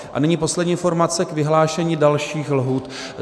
A nyní poslední informace k vyhlášení dalších lhůt.